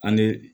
An bɛ